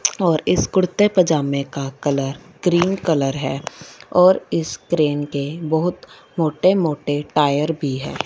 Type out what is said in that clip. और इस कुर्ते पजामे का कलर क्रीम कलर है और इस क्रेन के बहुत मोटे मोटे टायर भी हैं।